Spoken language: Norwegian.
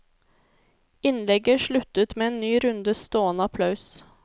Innlegget sluttet med en ny runde stående applaus.